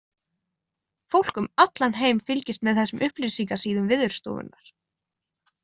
Fólk um allan heim fylgist með þessum upplýsingasíðum Veðurstofunnar.